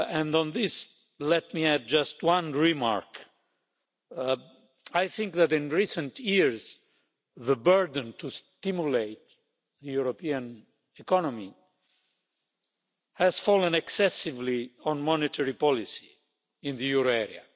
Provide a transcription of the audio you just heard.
On this, let me add just one remark. I think that, in recent years, the burden to stimulate the European economy has fallen excessively on monetary policy in the euro area.